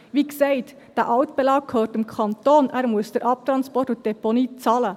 Wie gesagt: Dieser Altbelag gehört dem Kanton, er muss den Abtransport und die Deponie bezahlen.